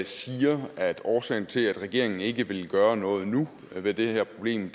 siger at årsagen til at regeringen ikke vil gøre noget nu ved det her problem